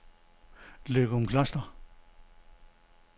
Løgumkloster